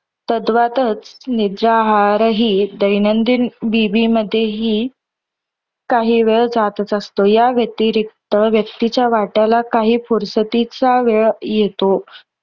तद्वातच निज आहारही दैनंदिन विधीमध्ये हि काही वेळ जाताच असतो. या व्यतिरिक्त व्यक्तीच्या वाट्याला काही फुरसतीचा वेळ येतो.